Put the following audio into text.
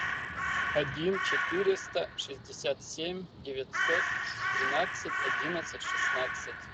один четыреста шестьдесят семь девятьсот тринадцать одиннадцать шестнадцать